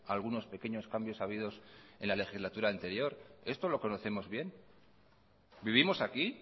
algunos pequeños cambios habidos en la legislatura anterior esto lo conocemos bien vivimos aquí